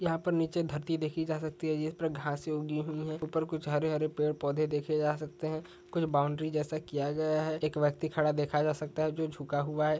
यहा पर नीचे धरती देखि जा सकती है जिस पर घासे उगी हुई है। ऊपर कुछ हरे-हरे पेड़ पौधे देखे जा सकते है। कुछ बाउंड्री जैसा किया गया है। एक व्यक्ति खड़ा देखा जा सकता है और जो झुका हुआ है।